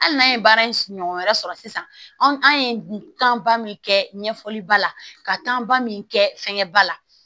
Hali n'an ye baara in ɲɔgɔn wɛrɛ sɔrɔ sisan an ye tɔnba min kɛ ɲɛfɔliba la ka tɔnba min kɛ fɛnkɛ ba la